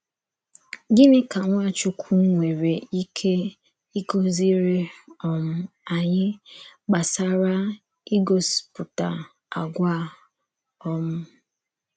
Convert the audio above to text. Gịnị kà Nwàchùkwù nwerè íké ịkụ̀zírí um ányị gbasàrà ígòspútà àgwà a? um